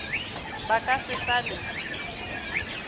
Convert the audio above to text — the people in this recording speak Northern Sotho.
ba ka se sa le